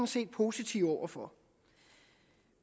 set positive over for